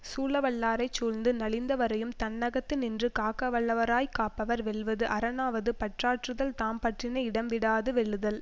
சூழவல்லாரைச் சூழ்ந்து நலிந்தவரையும் தன்னகத்து நின்று காக்கவல்லவராய்க் காப்பவர் வெல்வது அரணாவது பற்றாற்றுதல் தாம் பற்றின இடம் விடாது வெல்லுதல்